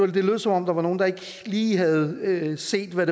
det lød som om der var nogle der ikke lige havde set hvad